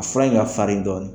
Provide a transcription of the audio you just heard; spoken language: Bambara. A fula in ŋa farin dɔɔnin